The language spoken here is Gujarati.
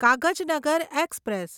કાગજનગર એક્સપ્રેસ